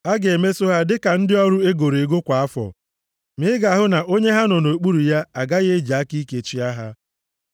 A ga-emeso ha dịka ndị ọrụ e goro ego kwa afọ, ma ị ga-ahụ na onye ha nọ nʼokpuru ya agaghị eji aka ike chịa ha.